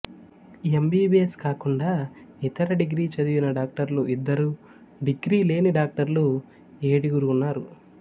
MBBS కాకుండా ఇతర degree చదివిన డాక్టర్లు ఇద్దరు డిగ్రీ లేని డాక్టర్లు ఏడుగురు ఉన్నారు